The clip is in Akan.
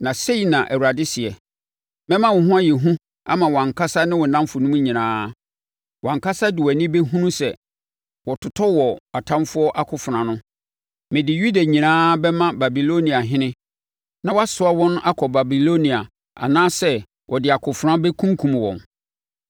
Na sei na Awurade seɛ: ‘Mɛma wo ho ayɛ hu ama wʼankasa ne wo nnamfonom nyinaa, wʼankasa de wʼani bɛhunu sɛ wɔtotɔ wɔ wɔn atamfoɔ akofena ano. Mede Yuda nyinaa bɛma Babiloniahene na wasoa wɔn akɔ Babilonia anaasɛ ɔde akofena bɛkunkum wɔn.